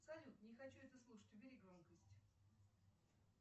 салют не хочу это слушать убери громкость